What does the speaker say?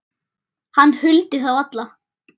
Hann huldi þá alla